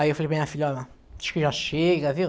Aí eu falei, minha filha, acho que já chega, viu?